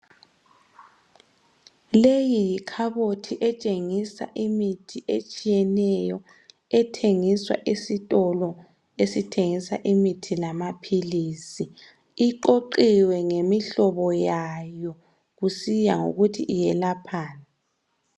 Leyi yikhabothi etshengisa imithi etshiyeneyo. Ethengiswa esitolo, esithengisa imithi lamaphilisi. Iqoqiwe ngemihlobo yayo. Kusiya ngokuthi iyelaphani.